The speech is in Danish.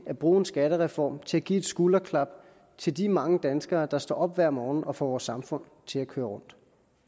at bruge en skattereform til at give et skulderklap til de mange danskere der står op hver morgen og får vores samfund til at køre rundt